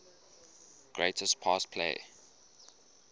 greatest pass play